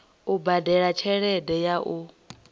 u badela tshelede ya u